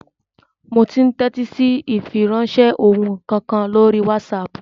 Mò ún tẹ́tí sí ìfiránsẹ́ ohùn kan lórí wásaàpù